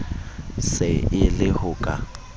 se e le ho ka